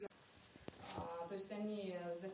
то есть они